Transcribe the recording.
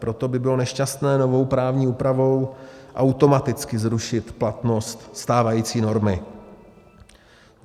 Proto by bylo nešťastné novou právní úpravou automaticky zrušit platnost stávající normy.